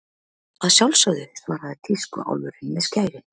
Að sjálfsögðu, svaraði tískuálfurinn með skærin.